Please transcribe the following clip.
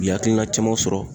U ye akilina caman sɔrɔ